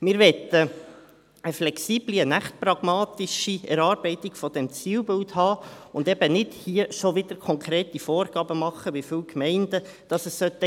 Wir möchten eine flexible, eine echt pragmatische Erarbeitung dieses Zielbilds haben und hier eben nicht schon wieder konkrete Vorgaben machen, wie viele Gemeinden es geben sollte.